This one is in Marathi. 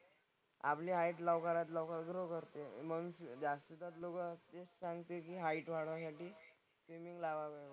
आपली हाईट लवकरात लवकर ग्रो करते. मग जास्त ग्रो करायची असली छानपैकी हाईट वाढायसाठी स्विमिंग लावावी.